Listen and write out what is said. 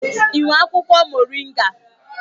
I nwere akwụkwọ moringa?